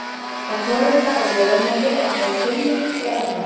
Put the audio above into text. að forrita á vélarmáli er bæði seinvirkt og erfitt